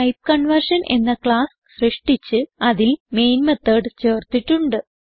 type conversion എന്ന class സൃഷ്ടിച്ച് അതിൽ മെയിൻ മെത്തോട് ചേർത്തിട്ടുണ്ട്